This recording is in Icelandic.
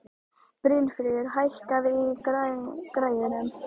Brynfríður, hækkaðu í græjunum.